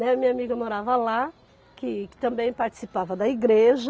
Né, a minha amiga morava lá, que que também participava da igreja.